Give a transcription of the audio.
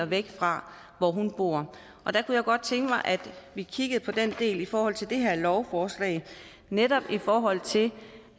væk fra hvor hun bor og der kunne jeg godt tænke mig at vi kiggede på det i forhold til det her lovforslag netop i forhold til